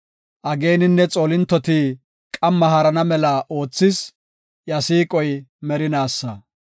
Ageeninne xoolintoti qamma haarana mela oothis; iya siiqoy merinaasa.